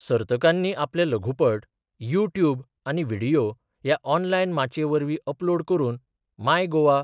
सर्तकांनी आपले लघुपट YouTube आनी व्हिडियो ह्या ऑनलायन माचये वरवीं अपलोड करून माय गोव.